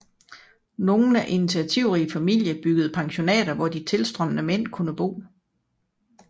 Nogle initiativrige familier byggede pensionater hvor de tilstrømmende mænd kunne bo